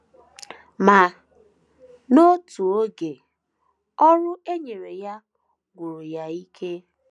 Ma, n’otu oge, ọrụ e nyere ya gwụrụ ya ike.